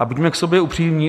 A buďme k sobě upřímní.